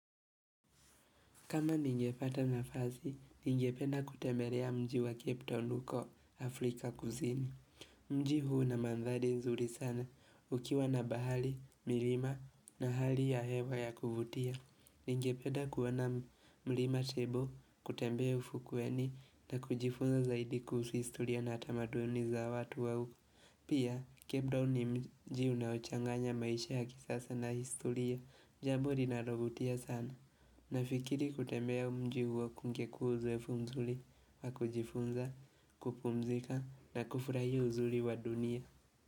Kama ningepata na fasi, ninge penda kutembelea mji wa cape town huko Afrika Kuzini. Mji huu una mandhali nzuri sana ukiwa na bahali, milima na hali ya hewa ya kuvutia. Ninge penda kuona milima tebo, kutembe ufukweni na kujifunza zaidi kuhusu historia na tamaduni za watu au. Pia, cape ni mji unaochanganya maisha ya kisasa na historia, jambo li na lovutia sana. Na fikiri kutembea mji huo kungeku uzoefumzuri wa kujifunza, kupumzika na kufurahia uzuri wa dunia.